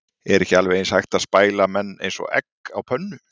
Er ekki alveg eins hægt að spæla menn eins og egg á pönnu?